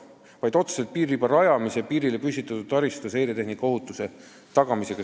See seondub hoopis vajadusega tagada piiririba rajamise ja piirile püstitatud taristu seiretehnika ohutus.